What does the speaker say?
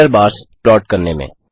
error bars plot करने में